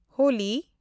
Holi